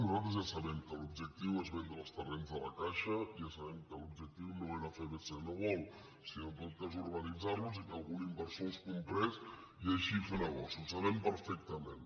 nosaltres ja sabem que l’objectiu és vendre els terrenys de la caixa ja sabem que l’objectiu no era fer bcn world sinó en tot cas urbanitzar los i que algun inversor els comprés i així fer negoci ho sabem perfectament